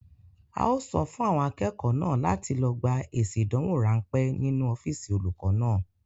A ó sọ fún àwọn akẹ́kọ̀ọ́ náà láti lọ gba èsì ìdánwò ránpẹ́ nínú ọ́físì olùkọ náà.